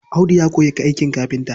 Audu ya koyi aikin kafinta.